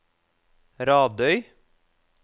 Radøy